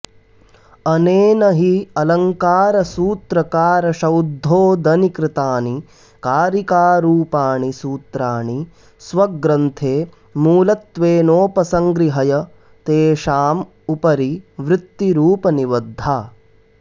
अनेन हि अलङ्कारसूत्रकारशौद्धोदनिकृतानि कारिकारूपाणि सूत्राणि स्वग्रन्थे मूलत्वेनोपसंगृहय तेषामुपरि वृत्तिरूपनिबद्धा